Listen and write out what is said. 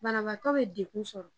Banabaatɔ be degu sɔrɔ